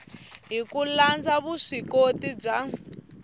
hi ku landza vuswikoti bya